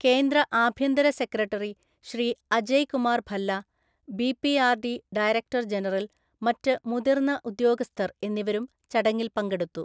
കേന്ദ്ര ആഭ്യന്തരസെക്രട്ടറി ശ്രീഅജയ്കുമാര്‍ ഭല്ല, ബി.പി.ആര്‍.ഡി. ഡയരക്ടര്‍ജനറല്‍, മറ്റു മുതിര്‍ന്ന ഉദ്യോഗസ്ഥര്‍ എന്നിവരുംചടങ്ങില്‍ പങ്കെടുത്തു.